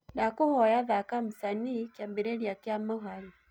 ndakũhoya thaka msanii kiambiriria kia muhari